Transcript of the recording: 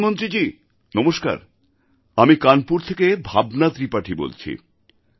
প্রধানমন্ত্রীজি নমস্কার আমি কানপুর থেকে ভাবনা ত্রিপাঠী বলছি